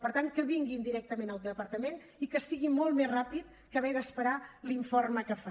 per tant que vinguin directament al departament i que sigui molt més ràpid que haver d’esperar l’informe que fa